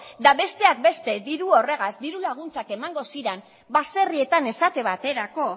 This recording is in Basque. eta besteak beste diru horrekin diru laguntzak emango ziren baserrietan esate baterako